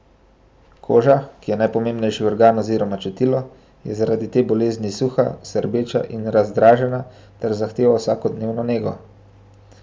Koža, ki je najpomembnejši organ oziroma čutilo, je zaradi te bolezni suha, srbeča in razdražena ter zahteva vsakodnevno nego.